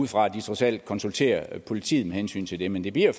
ud fra at de trods alt konsulterer politiet med hensyn til det men det bliver